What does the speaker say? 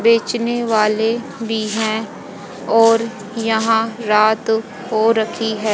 बेचने वाले भी हैं और यहां रात हो रखी है।